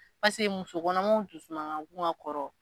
Paseke musokɔnɔmaw dusuma ka go ka kɔrɔ.